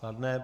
Kladné.